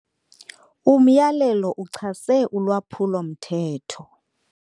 Umyalelo uchase ulwaphulomthetho